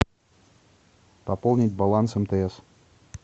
пополнить баланс мтс